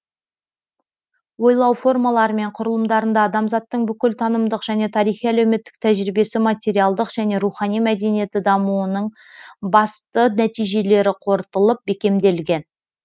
ойлау формалары мен құрылымдарында адамзаттың бүкіл танымдық және тарихи әлеуметтік тәжірибесі материалдық және рухани мәдениеті дамуының басты нәтижелері қорытылып бекемделген